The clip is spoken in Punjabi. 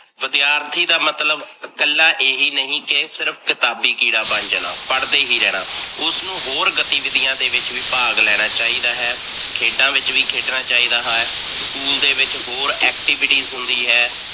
ਵਿਦਿਆਰਥੀ ਦਾ ਮਤਲਬ ਇਕੱਲਾ ਏਹੀ ਨਹੀਂ ਕੀ ਸਿਰਫ ਕਿਤਾਬੀ ਕੀੜਾ ਬਣ ਜਾਣਾ, ਪੜਦੇ ਹੀ ਰਹਣਾ, ਉਸਨੂੰ ਹੋਰ ਗਤੀਵਿਦਿਆ ਦੇ ਵਿੱਚ ਵੀ ਭਾਗ ਲੈਣਾ ਚਾਹੀਦਾ ਹੈ, ਖੇਡਾ ਵਿੱਚ ਵੀ ਖੇਡਣਾ ਚਾਹੀਦਾ ਹੈ, ਸਕੂਲ ਦੇ ਵਿੱਚ ਹੋਰ activities ਹੁੰਦੀ ਹੈ,